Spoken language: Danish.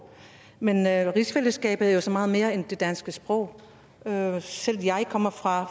men rigsfællesskabet er jo så meget mere end det danske sprog jeg selv kommer fra